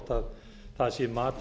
frú forseti einkavæðingin var